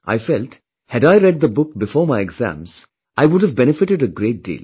I felt, had I read the book before my exams, I would have benefited a great deal